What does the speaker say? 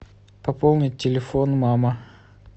пополнить телефон мама